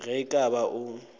ge e ka ba o